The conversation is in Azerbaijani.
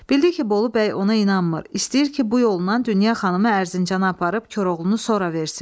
Bildi ki, Bolu bəy ona inanmır, istəyir ki, bu yolla Dünya xanımı Ərzincana aparıb Koroğlunu sonra versin.